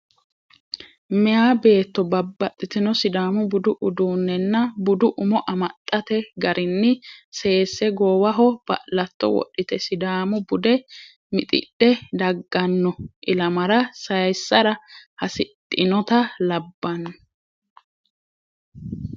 Meeya beetto babbaxitino sidaamu budu uduunnenna budu umo amaxxate garinni seesse goowaho ba'latto wodhite sidaamu bude mixidhe dagganno ilamara saayssara hasidhinota labbanno.